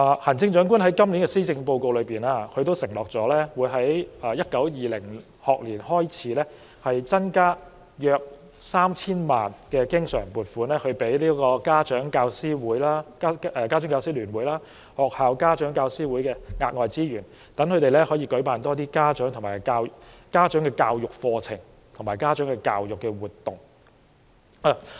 行政長官在今年的施政報告中，承諾會在 2019-2020 學年開始增加大約 3,000 萬元經常性撥款，這些額外資源會撥給家長教師會聯會和學校家長教師會，讓他們可以舉辦更多家長的教育課程和活動。